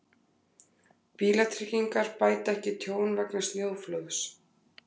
Bílatryggingar bæta ekki tjón vegna snjóflóðs